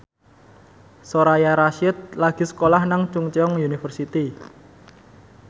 Soraya Rasyid lagi sekolah nang Chungceong University